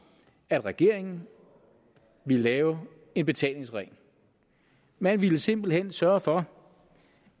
at regeringen ville lave en betalingsring man ville simpelt hen sørge for